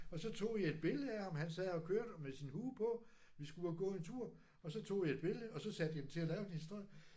Og så tog jeg et billede af ham han sad og kørte med sin hue på. Vi skulle ud og gå en tur og så tog jeg et billede og så satte jeg den til at lave en historie